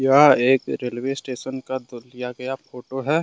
यह एक railway station का लिया गया फोटो है।